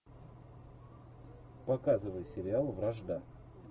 показывай сериал вражда